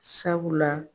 Sabula